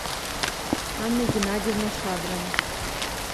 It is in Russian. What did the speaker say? анна геннадьевна шадрова